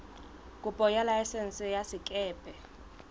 kopo ya laesense ya sekepe